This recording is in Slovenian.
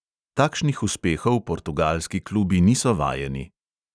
Takšnih uspehov portugalski klubi niso vajeni.